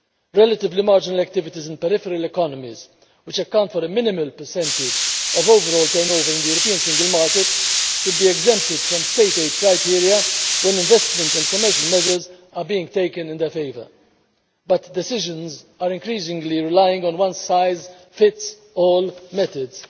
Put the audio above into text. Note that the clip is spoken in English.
Relatively marginal activities in peripheral economies, which account for a minimum percentage of overall turnover in the European single market, should be exempted from state aid criteria when investment and commercial measures are being taken in their favour. But decisions are increasingly relying on one size fits all methods.